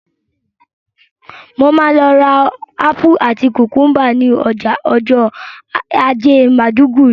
Mo ma lọ rà ápù àti kùkúmbà ni ọjà ọjọ́ ajé Maiduguri